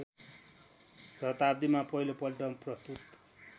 शताब्दीमा पहिलोपल्ट प्रस्तुत